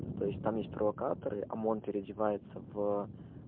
то есть там есть провокаторы омон переодевается в